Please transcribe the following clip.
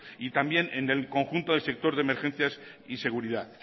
y también en el conjunto del sector de emergencias y seguridad